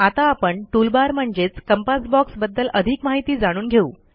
आता आपण tool bar म्हणजेच कंपास बॉक्स बद्दल अधिक माहिती जाणून घेऊ